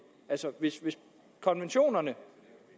altså hvis konventionerne